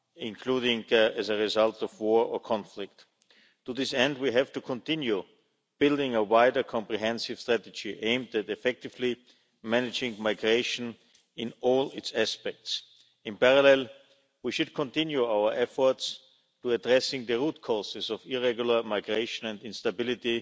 including as a result of war or conflict. To this end we have to continue building a wider, comprehensive strategy aimed at effectively managing migration in all its aspects. In parallel, we should continue our efforts to address the root causes of irregular migration and instability